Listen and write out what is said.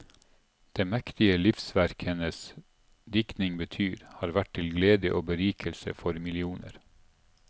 Det mektige livsverk hennes diktning betyr, har vært til glede og berikelse for millioner.